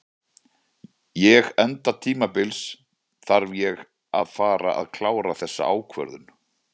Ég enda tímabils þarf ég að fara að klára þessa ákvörðun.